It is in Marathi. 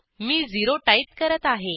मी 0टाईप करत आहे